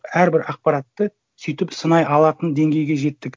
әрбір ақпаратты сөйтіп сынай алатын деңгейге жеттік